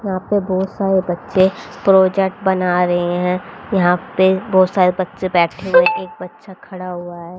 यहां पे बहुत सारे बच्चे प्रोजेक्ट बना रहे हैं यहां पे बहुत सारे बच्चे बैठे हुए एक बच्चा खड़ा हुआ है।